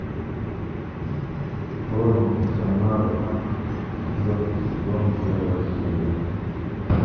хроники шаннары четвертый сезон первая серия